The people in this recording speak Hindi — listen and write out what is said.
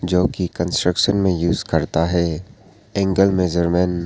जो कि कंस्ट्रक्शन में यूज करता है एंगल मेजरमेंट ।